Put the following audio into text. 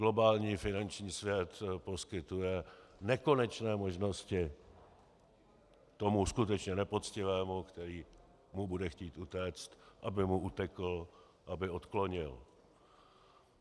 Globální finanční svět poskytuje nekonečné možnosti tomu skutečně nepoctivému, který mu bude chtít utéct, aby mu utekl, aby odklonil.